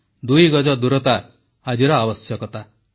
ଦୁଇ ଗଜ ଦୂରତା ଆଜିର ଆବଶ୍ୟକତା